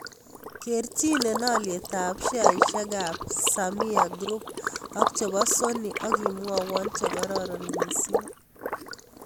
Kerchinen alyetap sheasiekap sameeer group ak che po sony ak imwawon che kararon miising'